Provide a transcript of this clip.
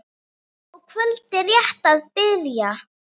og kvöldið rétt að byrja!